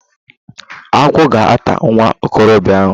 Agwọ ga ata nwa okorobịa ahụ.